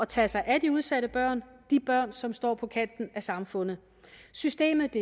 tage sig af de udsatte børn de børn som står på kanten af samfundet systemet